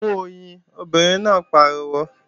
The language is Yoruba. Mú oyin, obìnrin náà pariwo!